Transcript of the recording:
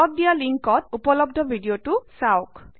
তলত দিয়া লিঙ্কত উপলব্ধ ভিডিঅটো চাওক